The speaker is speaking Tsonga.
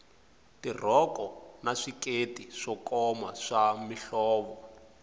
tirhoko na swikete swo koma swa mihlovo